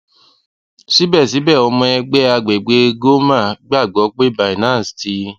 sibẹsibẹ ọmọ ẹgbẹ agbegbe ggoma gbagbọ pe binance ti